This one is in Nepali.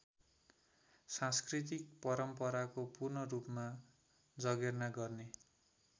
सांस्कृतिक परम्पराको पूर्णरूपमा जर्गेना गर्ने